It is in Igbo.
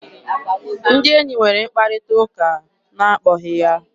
Ndị enyi nwere mkparịta ụka n'akpọghị ya.